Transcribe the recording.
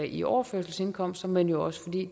i overførselsindkomster men jo også fordi